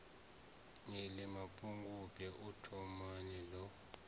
iḽi mapungubwe u thomani ḽo